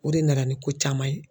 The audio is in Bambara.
O de nana ni ko caman ye